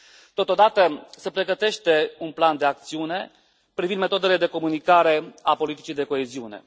Totodată, se pregătește un plan de acțiune privind metodele de comunicare a politicii de coeziune.